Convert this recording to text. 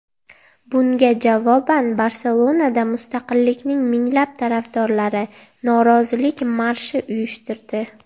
Bunga javoban Barselonada mustaqillikning minglab tarafdorlari norozilik marshi uyushtirdi.